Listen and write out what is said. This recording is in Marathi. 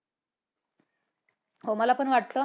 हो मला पण वाटतं.